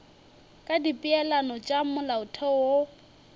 ka dipeelano tša molaotheo wo